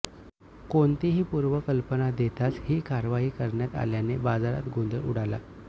कोणतीही पूर्व कल्पना देताच ही कारवाई करण्यात आल्याने बाजारात गोंधळ उडाला